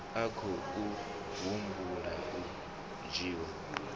a khou humbela u dzhiwa